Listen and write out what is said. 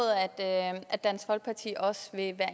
at dansk folkeparti også vil